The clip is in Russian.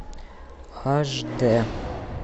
аш дэ